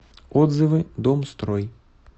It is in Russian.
отзывы домстрой